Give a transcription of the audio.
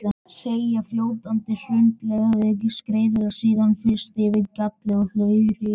Seigfljótandi hraundeigið skreiðist síðan yfir gjallið og hylur það.